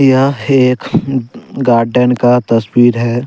यह हेक गार्डन का तस्वीर है।